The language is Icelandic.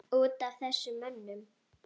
Út af þessum mönnum?